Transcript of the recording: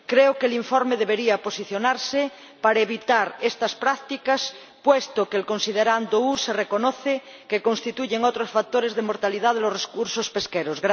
Creo que el informe debería posicionarse para evitar estas prácticas, puesto que en el considerando U se reconoce que constituyen otros factores de mortalidad de los recursos pesqueros.